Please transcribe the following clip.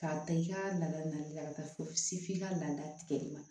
K'a ta i ka laada naanina ka taa fo se f'i ka laada tigɛ de ma